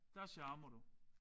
Der charmer du